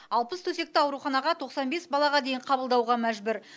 алпыс төсекті ауруханаға тоқсан бес балаға дейін қабылдауға мәжбүр